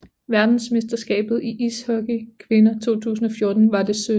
Verdensmesterskabet i ishockey for kvinder 2014 var det 17